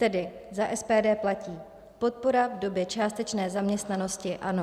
Tedy za SPD platí - podpora v době částečné zaměstnanosti ano.